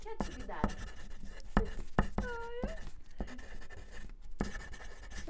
Que atividades? Ah, eu